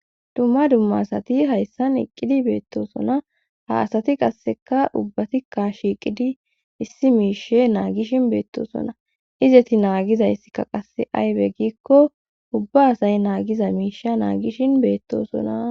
Dumma dumma asati hayssan iqqidi beettosona ha asati qasseka ubbatikka shiiqidi issi miishe naagishin beettosona izeti naagizayssikka qasse aybe giikko ubba asay naagiza miishe naagishin beettosona